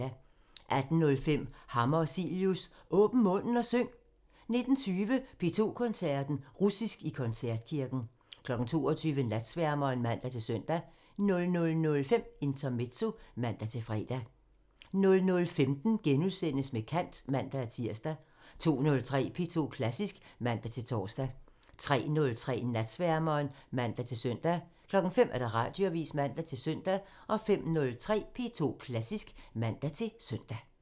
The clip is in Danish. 18:05: Hammer og Cilius – Åbn munden og syng! 19:20: P2 Koncerten – Russisk i koncertkirken 22:00: Natsværmeren (man-søn) 00:05: Intermezzo (man-fre) 00:15: Med kant *(man-tir) 02:03: P2 Klassisk (man-tor) 03:03: Natsværmeren (man-søn) 05:00: Radioavisen (man-søn) 05:03: P2 Klassisk (man-søn)